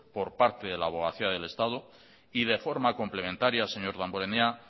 por parte de la abogacía del estado y de forma complementaria señor damborenea